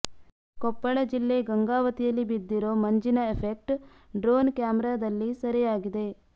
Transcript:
ಕೊಪ್ಪಳ ಜಿಲ್ಲೆ ಗಂಗಾವತಿಯಲ್ಲಿ ಬಿದ್ದಿರೋ ಮಂಜಿನ ಎಫೆಕ್ಟ್ ಡ್ರೋನ್ ಕ್ಯಾಮೆರಾದಲ್ಲಿ ಸೆರೆಯಾಗಿದೆ